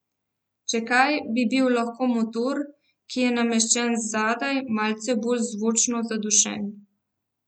Če kaj, bi bil lahko motor, ki je nameščen zadaj, malce bolj zvočno zadušen.